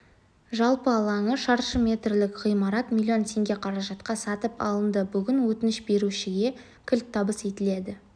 жалпы алаңы шаршы метрлік ғимарат млн теңге қаражатқа сатып алынды бүгін өтініш берушіге кілт табыс етілді